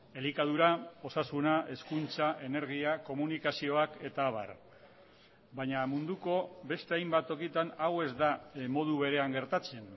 elikadura osasuna hezkuntza energia komunikazioak eta abar baina munduko beste hainbat tokitan hau ez da modu berean gertatzen